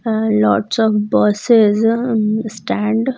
And lots of buses um stand --